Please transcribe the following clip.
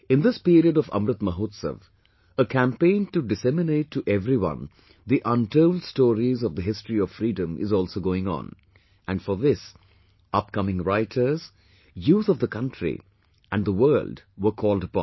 in this period of Amrit Mahotsav, a campaign to disseminate to everyone the untold stories of the history of freedom is also going on... and for this, upcoming writers, youth of the country and the world were called upon